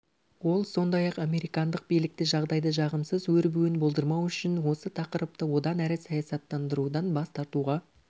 ол сондай-ақ американдық билікті жағдайды жағымсыз өробуын болдырмау үшін осы тақырыбты одан әрі саясаттандырудан бас тартуға